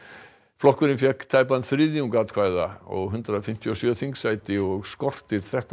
flokkurinn fékk tæpan þriðjung atkvæða og hundrað fimmtíu og sjö þingsæti og skortir þrettán